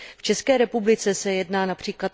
V České republice se jedná např.